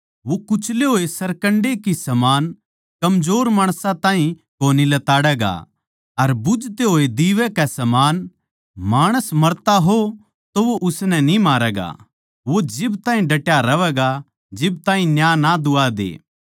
वो कुचले होए सरकंडे की समान कमजोर माणसां ताहीं कोनी लताड़ैगा अर बुझते होए दीवे के समान माणस मरता हो तो वो उसनै न्ही मारैगा वो जिब ताहीं डटया रह्वैगा जिब ताहीं न्याय ना दुवा दे